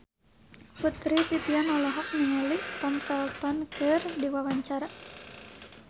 Putri Titian olohok ningali Tom Felton keur diwawancara